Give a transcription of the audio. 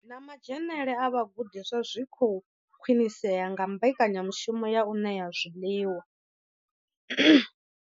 Na madzhenele a vhagudiswa zwi khou khwinisea nga mbekanyamushumo ya u ṋea zwiḽiwa.